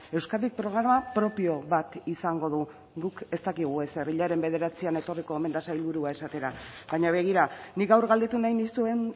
euskadik programa propio bat izango du guk ez dakigu ezer hilaren bederatzian etorriko omen da sailburua esatera baina begira nik gaur galdetu nahi nizuen